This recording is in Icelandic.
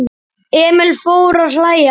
Emil fór að hlæja.